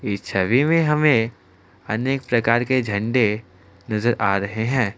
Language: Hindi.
इस छवि में हमे अनेक प्रकार के झंडे नजर आ रहे है।